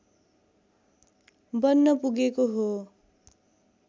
बन्न पुगेको हो